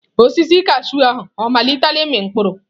Osisi kashụụ ahụ ọ malitela ịmị mkpụrụ?